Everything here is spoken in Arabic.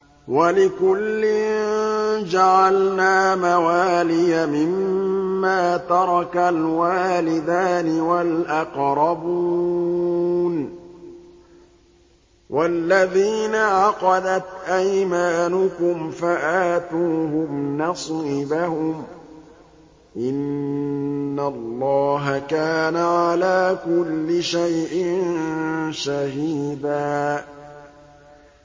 وَلِكُلٍّ جَعَلْنَا مَوَالِيَ مِمَّا تَرَكَ الْوَالِدَانِ وَالْأَقْرَبُونَ ۚ وَالَّذِينَ عَقَدَتْ أَيْمَانُكُمْ فَآتُوهُمْ نَصِيبَهُمْ ۚ إِنَّ اللَّهَ كَانَ عَلَىٰ كُلِّ شَيْءٍ شَهِيدًا